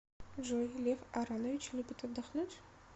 джой лев аронович любит отдохнуть